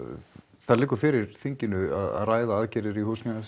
það liggur fyrir þinginu að ræða aðgerðir í